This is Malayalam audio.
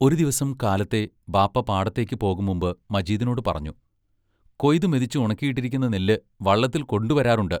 ഒരു ദിവസം കാലത്തെ ബാപ്പാ പാടത്തേക്ക്‌ പോകും മുമ്പ് മജീദിനോടു പറഞ്ഞു: കൊയ്തുമെതിച്ച് ഉണക്കിയിട്ടിരിക്കുന്ന നെല്ല് വള്ളത്തിൽ കൊണ്ടുവരാറുണ്ട്.